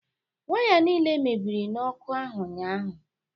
Waya niile mebiri n'ọkụ ahụ ụnyahụ